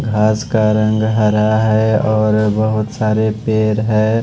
घास का रंग हरा है और बहोत सारे पेड़ है।